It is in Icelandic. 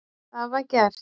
Það var gert.